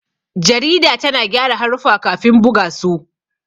Jarida tana gyara haruffa kafin buga su.